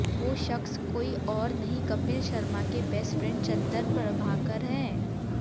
वो शख्स कोई और नहीं कपिल शर्मा के बेस्ट फ्रेंड चंदन प्रभाकर हैं